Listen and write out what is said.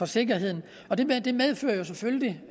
sikkerheden og det det medfører jo selvfølgelig